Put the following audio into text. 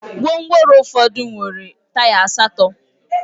Gwongworo ụfọdụ nwere taya asatọ